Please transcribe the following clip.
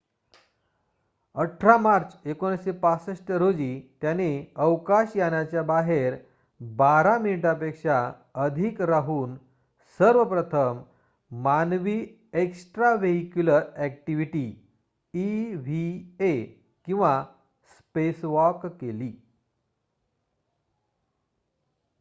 "18 March 1965 रोजी त्याने अवकाश यानाच्या बाहेर बारा मिनिटांपेक्षा अधिक राहून सर्वप्रथम मानवी एक्स्ट्राव्हेईक्युलर अॅक्टिविटी इव्हीए किंवा "स्पेसवॉक" केली.